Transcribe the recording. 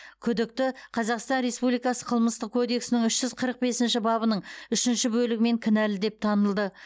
күдікті қазақстан республикасы қылмыстық кодексінің үш жүз қырық бесінші бабының үшінші бөлігімен кінәлі деп танылды